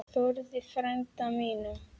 Þórði frænda mínum!